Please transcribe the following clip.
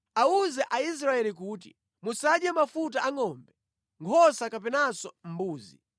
“Awuze Aisraeli kuti, ‘Musadye mafuta a ngʼombe, nkhosa kapenanso mbuzi.